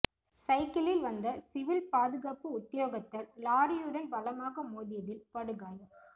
சைக்கிளில் வந்த சிவில் பாதுகாப்பு உத்தியோகத்தர் லொறியுடன் பலமாக மோதியதில் படுகாயம்